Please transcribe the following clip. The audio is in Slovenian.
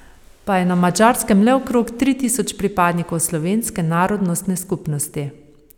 Pa je na Madžarskem le okrog tri tisoč pripadnikov slovenske narodnostne skupnosti.